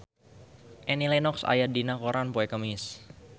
Annie Lenox aya dina koran poe Kemis